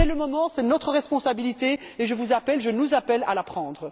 C'est le moment, c'est notre responsabilité, et je vous appelle je nous appelle à la prendre.